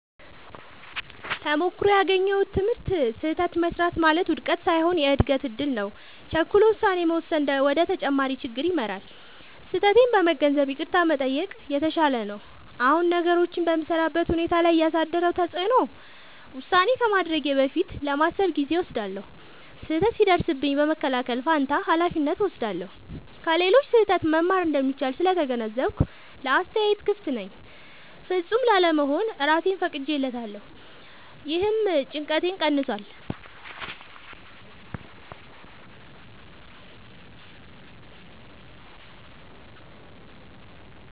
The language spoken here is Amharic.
ተሞክሮው ያገኘሁት ትምህርት፦ · ስህተት መሥራት ማለት ውድቀት ሳይሆን የእድገት እድል ነው። · ቸኩሎ ውሳኔ መወሰን ወደ ተጨማሪ ችግር ይመራል። · ስህተቴን በመገንዘብ ይቅርታ መጠየቅ የተሻለ ነው። አሁን ነገሮችን በምሠራበት ሁኔታ ላይ ያሳደረው ተጽዕኖ፦ · ውሳኔ ከማድረጌ በፊት ለማሰብ ጊዜ እወስዳለሁ። · ስህተት ሲደርስብኝ በመከላከል ፋንታ ኃላፊነት እወስዳለሁ። · ከሌሎች ስህተት መማር እንደሚቻል ስለተገነዘብኩ ለአስተያየት ክፍት ነኝ። · ፍጹም ላለመሆን እራሴን ፈቅጄለታለሁ — ይህም ጭንቀቴን ቀንሷል።